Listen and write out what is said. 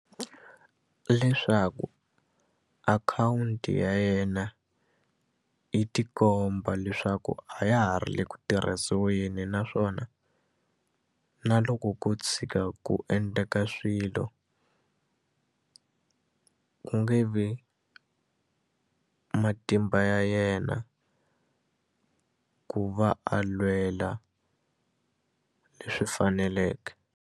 Leswaku akhawunti ya yena yi ti komba leswaku a ya ha ri le ku tirhisiweni naswona na loko ko tshika ku endleka swilo ku nge vi matimba ya yena ku va a lwela leswi faneleke.